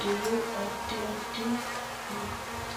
diru addi addi hidhe ikko noosita akkala hayishshi re amma note ayyaanna.